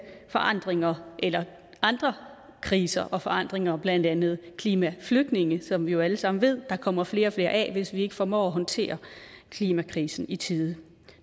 forandringer eller andre kriser og forandringer blandt andet klimaflygtninge som vi jo alle sammen ved der kommer flere og flere af hvis vi ikke formår at håndtere klimakrisen i tide